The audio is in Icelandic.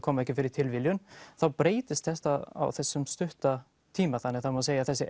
koma ekki fyrir tilviljun þá breytist þetta á þessum stutta tíma þannig að það má segja að þessir